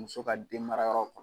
Muso ka den mara yɔrɔ